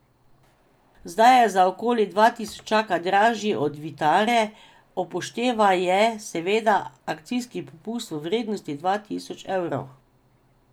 Zdaj je za okoli dva tisočaka dražji od Vitare, upoštevaje seveda akcijski popust v vrednosti dva tisoč evrov.